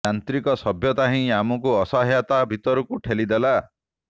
ଯାନ୍ତ୍ରିକ ସଭ୍ୟତା ହିଁ ଆମକୁ ଅସହାୟତା ଭିତରକୁ ଠେଲି ଦେଲା